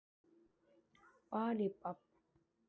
Spurning er hvort Bjarnólfur sé kominn með einhvern stimpil á sig?